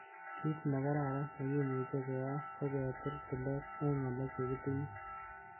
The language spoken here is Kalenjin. Kit nekararan nekimuche keyai koketil tilet en ngalek chekitinye.